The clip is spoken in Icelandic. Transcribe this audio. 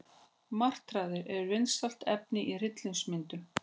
Martraðir eru vinsælt efni í hryllingsmyndum.